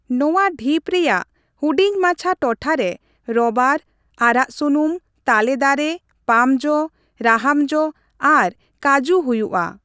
ᱱᱚᱣᱟ ᱰᱷᱤᱯ ᱨᱮᱭᱟᱜ ᱦᱩᱰᱤᱧ ᱢᱟᱪᱷᱟ ᱴᱚᱴᱷᱟ ᱨᱮ ᱨᱚᱵᱟᱨ, ᱟᱨᱟᱜ ᱥᱩᱱᱩᱢ, ᱛᱟᱞᱮ ᱫᱟᱨᱮ, ᱯᱟᱢ ᱡᱚ, ᱨᱟᱦᱟᱢ ᱡᱚ ᱟᱨ ᱠᱟᱡᱩ ᱦᱩᱭᱩᱜᱼᱟ ᱾